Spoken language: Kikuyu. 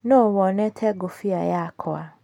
No wonete ngũbia yakwa ?